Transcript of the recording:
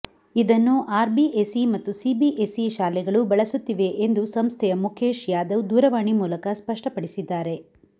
ಇದನ್ನು ಆರ್ಬಿಎಸ್ಇ ಮತ್ತು ಸಿಬಿಇಎಸ್ಇ ಶಾಲೆಗಳು ಬಳಸುತ್ತಿವೆ ಎಂದು ಸಂಸ್ಥೆಯ ಮುಖೇಶ್ ಯಾದವ್ ದೂರವಾಣಿ ಮೂಲಕ ಸ್ಪಷ್ಟಪಡಿಸಿದ್ದಾರೆ